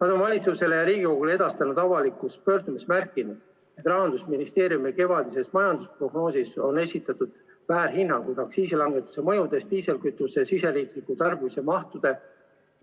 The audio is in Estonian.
Nad on valitsusele ja Riigikogule edastatud avalikus pöördumises märkinud, et Rahandusministeeriumi kevadises majandusprognoosis on esitatud väärhinnangud aktsiisilangetuse mõjust diislikütuse riigisisese tarbimise mahtudele